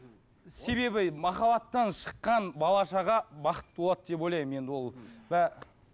себебі махаббаттан шыққан бала шаға бақытты болады деп ойлаймын енді ол ы